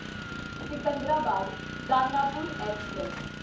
Secunderabad Danapur express